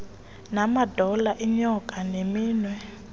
namadolo iinyonga neminwe